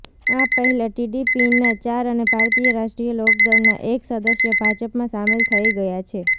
આ પહેલા ટીડીપીના ચાર અને ભારતીય રાષ્ટ્રીય લોકદળના એક સદસ્ય ભાજપમાં સામેલ થઈ ગયા છે